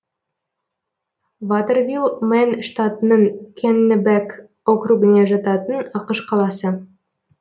ватэрвилл мэн штатының кеннебек округіне жататын ақш қаласы